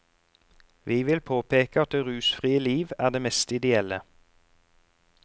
Vi vil påpeke at det rusfrie liv er det mest ideelle.